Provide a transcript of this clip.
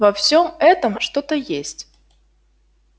во всём этом что-то есть